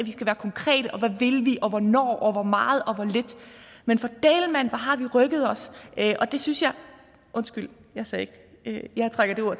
vi vi og hvornår og hvor meget og hvor lidt men for dælen mand hvor har vi rykket os undskyld jeg trækker de ord